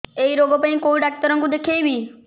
ଏଇ ରୋଗ ପାଇଁ କଉ ଡ଼ାକ୍ତର ଙ୍କୁ ଦେଖେଇବି